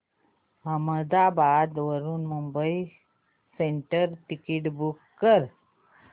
अहमदाबाद वरून Mumbai central ticket book कर